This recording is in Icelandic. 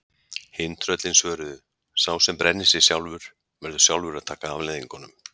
Hin tröllin svöruðu: Sá sem brennir sig sjálfur, verður sjálfur að taka afleiðingunum